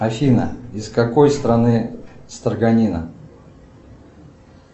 афина из какой страны строганина